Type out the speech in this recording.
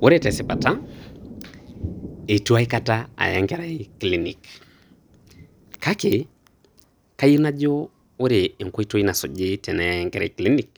Ore tesipata, eitu aikata aya enkerai kilinik. Kake, kayieu najo ore enkoitoi nasuji teneyai enkerai kilinik,